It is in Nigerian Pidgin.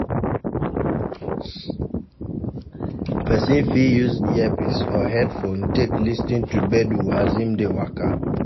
Person fit use earpice or headphone take lis ten to gbedu as im dey waka